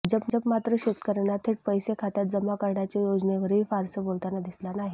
भाजप मात्र शेतकऱ्यांना थेट पैसे खात्यात जमा करण्याच्या योजनेवरही फारसं बोलताना दिसला नाही